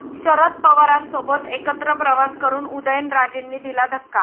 शरद पवारांसोबत एकत्र प्रवास करून उदयनराजेंनी दिला धक्का